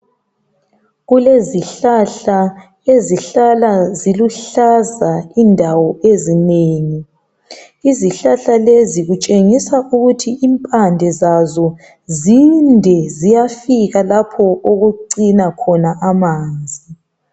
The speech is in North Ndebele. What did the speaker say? Kulezihlahla ezihlala ziluhlaza indawo ezinengi. Izihlahla lezi kutshengisa ukuthi impande zazo zinde ziyafika lapho okucina khona amanzi.